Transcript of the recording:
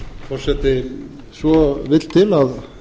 forseti svo vill til að